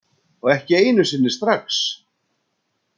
Og ekki einu sinni strax.